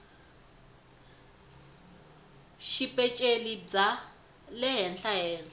xipeceli na bya le henhlahenhla